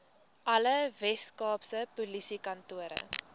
alle weskaapse polisiekantore